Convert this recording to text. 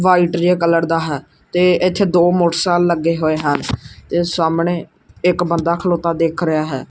White colour ਦਾ ਹੈ ਤੇ ਇੱਥੇ ਦੋ ਮੋਟਰਸਾਇਕਲ ਲੱਗੇ ਹੋਏ ਹਨ ਤੇ ਸਾਹਮਣੇ ਇੱਕ ਬੰਦਾ ਖਲੋਤਾ ਦਿਖ ਰਿਹਾ ਹੈ।